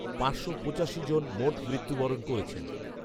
পাঁচশো পঁচাশি জন মোট মৃত্যু বরণ করেছেন